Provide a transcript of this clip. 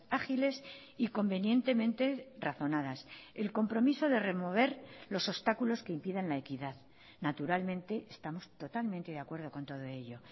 ágiles y convenientemente razonadas el compromiso de remover los obstáculos que impiden la equidad naturalmente estamos totalmente de acuerdo con todo ello